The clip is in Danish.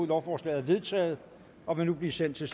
lovforslaget er vedtaget og vil nu blive sendt til